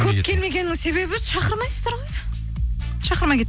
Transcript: көп келмегеннің себебі шақырмайсыздар ғой шақырмай